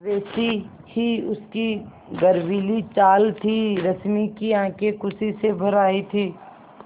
वैसी ही उसकी गर्वीली चाल थी रश्मि की आँखें खुशी से भर आई थीं